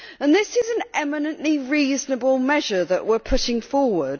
This is an eminently reasonable measure that we are putting forward.